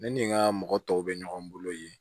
Ne ni n ka mɔgɔ tɔw bɛ ɲɔgɔn bolo yen